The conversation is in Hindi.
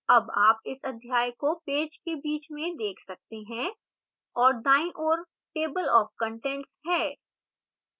अब आप इस अध्याय को पेज के बीच में देख सकते हैं और दाईं ओर table of contents है